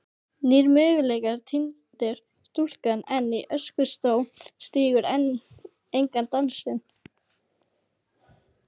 nýir möguleikar týndir stúlkan enn í öskustó stígur engan dansinn